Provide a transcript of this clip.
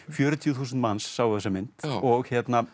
fjörutíu þúsund manns sáu þessa mynd og